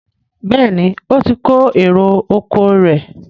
Béèni o tí kò èrò ọkọ̀ rẹ.